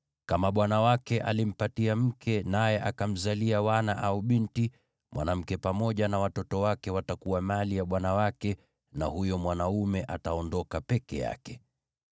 Kama bwana wake alimpatia mke naye akamzalia wana au binti, mwanamke pamoja na watoto wake watakuwa mali ya bwana wake na huyo mwanaume ataondoka peke yake.